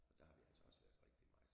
Så der har vi altså også været rigtig meget